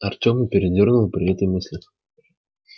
артема передёрнуло при этой мысли